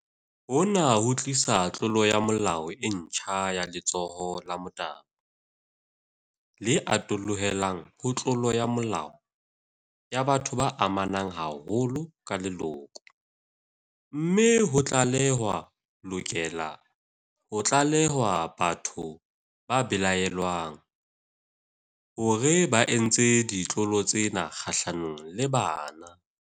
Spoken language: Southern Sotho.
Hona ho tlisa tlolo ya molao e ntjha ya letshoho la motabo, le atollohelang ho tlolo ya molao ya batho ba amanang haholo ka leloko, mme ho tlale-hwa lokela ho tlalehwa batho ba belaellwang hore ba entse ditlolo tsena kgahlanong le bana.